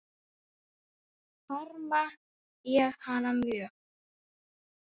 Harma ég hana mjög.